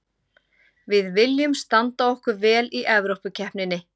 Við viljum standa okkur vel í Evrópukeppninni.